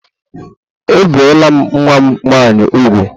Ebìla nwa m nwanyị úgwù!